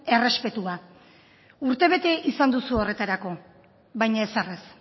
errespetua urte bete izan duzu horretarako baina ezer ez